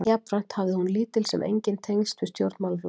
Jafnframt hafði hafði hún lítil sem engin tengsl við stjórnmálaflokka.